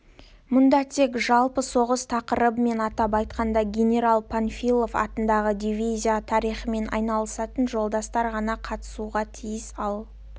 мұнда тек жалпы соғыс тақырыбымен атап айтқанда генерал панфилов атындағы дивизия тарихымен айналысатын жолдастар ғана катысуға тиіс ал